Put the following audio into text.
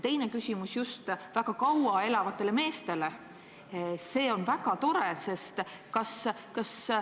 Teine küsimus on aga just väga kaua elavate meeste kohta.